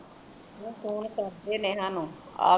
phone ਕਰਦੇ ਨੇਹਾ ਨੂੰ ਆਵੇ